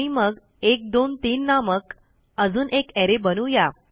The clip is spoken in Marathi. आणि मग 123 नामक अजून एक अरे बनवू या